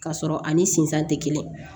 K'a sɔrɔ ani sinzan te kelen